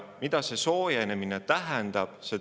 Mida see soojenemine tähendab?